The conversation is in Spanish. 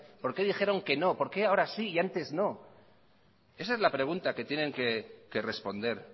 por qué dijeron que no por qué ahora sí y antes no esa es la pregunta que tienen que responder